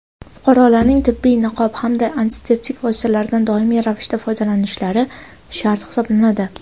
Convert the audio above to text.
fuqarolarning tibbiy niqob hamda antiseptik vositalaridan doimiy ravishda foydalanishlari shart hisoblanadi.